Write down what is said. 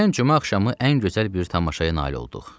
Keçən cümə axşamı ən gözəl bir tamaşaya nail olduq.